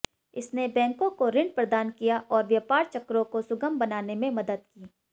इसने बैंकों को ऋण प्रदान किया और व्यापार चक्रों को सुगम बनाने में मदद की